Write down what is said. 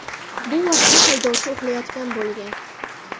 Bu vaqtda haydovchi uxlayotgan bo‘lgan.